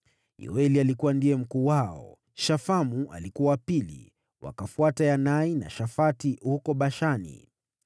Yoeli ndiye alikuwa mkuu wao, Shafamu wa pili, na wakafuata Yanai na Shafati, huko Bashani.